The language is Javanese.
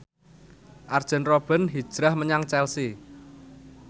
Arjen Robben hijrah menyang Chelsea